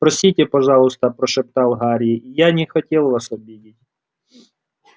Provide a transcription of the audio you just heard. простите пожалуйста прошептал гарри я не хотел вас обидеть